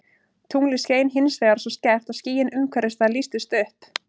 Tunglið skein hins vegar svo skært að skýin umhverfis það lýstust upp.